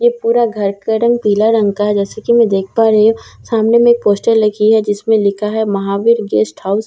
ये पूरा घर का रंग पीला रंग का है जैसा की मैं देख पा रही हूँ सामने में एक पोस्टर लगी है जिस में लिखा है महावीर गेस्ट हाउस --